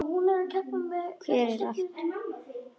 Hver á allt þetta dót?